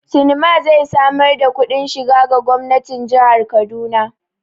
Sinima zai samar da kudin shiga ga gwamnatin jihar Kaduna.